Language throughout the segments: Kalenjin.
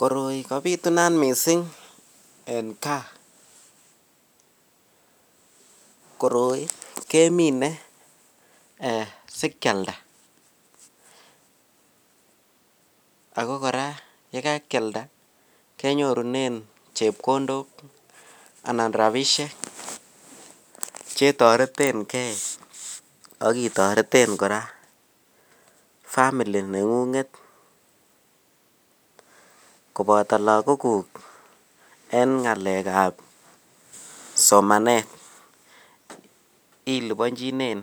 Koroi kobitunat mising en kaa, koroi kemine sikialda ak ko kora yekakialda kenyorunen chepkondok anan rabishek chetoreteng'e ak itoreten kora family neng'ung'et koboto lokokuk en ng'alekab somanet ilibonjinen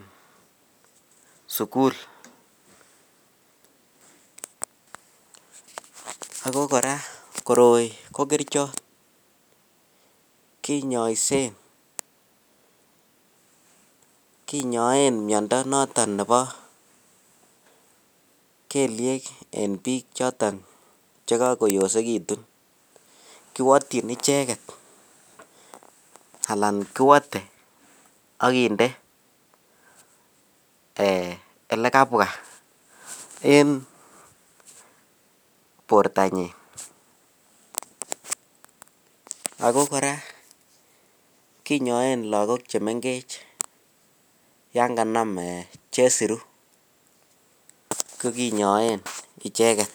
sukul, ak ko kora koroi ko kerichot, kinyoisen kinyoen miondo noton nebo kelyek en biik choton chekokoyosekitun, kiwotyin icheket alaan kiwote ak kinde elekabwa en bortanyin ak ko kora kinyoen lokok chemeng'ech yoon kanam Um chesiru ko kinyoen icheket.